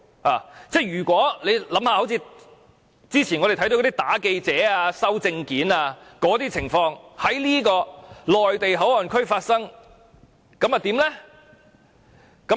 大家想一想：之前我們看到的打記者和沒收證件的那些情況如果在內地口岸區發生，那又會如何？